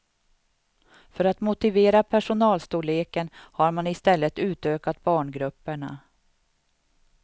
För att motivera personalstorleken har man i stället utökat barngrupperna.